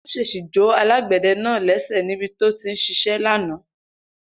Iná ṣèṣì jó alágbẹ̀dẹ náà lẹ́sẹ̀ nibi tó ti ń ṣiṣẹ́ lánàá